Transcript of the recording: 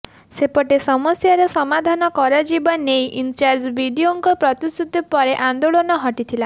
ସେପଟେ ସମସ୍ୟାର ସମାଧାନ କରାଯିବା ନେଇ ଇନଚାର୍ଜ ବିଡିଓଙ୍କ ପ୍ରତିଶ୍ରୁତି ପରେ ଆନ୍ଦୋଳନ ହଟିଥିଲା